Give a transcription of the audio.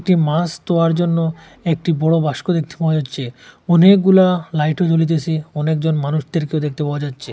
একটি মাস দোয়ার জন্য একটি বড় বাস্ক দেখতে পাওয়া যাচ্ছে অনেকগুলা লাইটও জ্বলিতেসে অনেক জন মানুষদেরকে দেখতে পাওয়া যাচ্ছে।